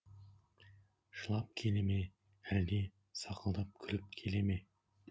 жылап келеме әлде сақылдап күліп келе ме